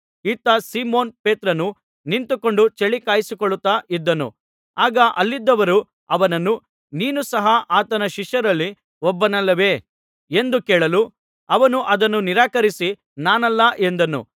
ಇತ್ತ ಸೀಮೋನ್ ಪೇತ್ರನು ನಿಂತುಕೊಂಡು ಚಳಿ ಕಾಯಿಸಿಕೊಳ್ಳುತ್ತಾ ಇದ್ದನು ಆಗ ಅಲ್ಲಿದ್ದವರು ಅವನನ್ನು ನೀನು ಸಹ ಆತನ ಶಿಷ್ಯರಲ್ಲಿ ಒಬ್ಬನಲ್ಲವೇ ಎಂದು ಕೇಳಲು ಅವನು ಅದನ್ನು ನಿರಾಕರಿಸಿ ನಾನಲ್ಲ ಎಂದನು